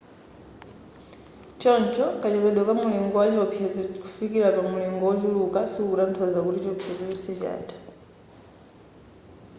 choncho kachepedwe ka mulingo wa chiopsezo kufikira pa mulingo ochuluka sikukutanthauza kuti chiopsezo chonse chatha